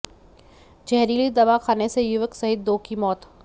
जहरीली दवा खाने से युवक सहित दो की मौत